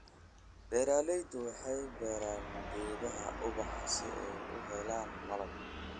Beeralaydu waxay beeraan geedaha ubaxa si ay u helaan malab.